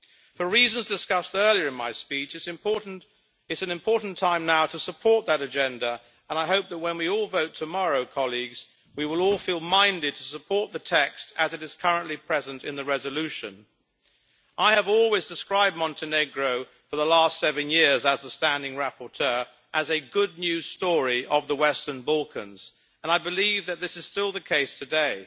For reasons discussed earlier in my speech it is an important time now to support that agenda and I hope that when we all vote tomorrow we will all feel minded to support the text as it is currently present in the resolution. I have always described Montenegro, for the last seven years as the standing rapporteur, as a good news story of the Western Balkans, and I believe that this is still the case today.